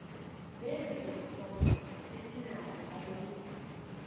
sezinto esinazo ayikho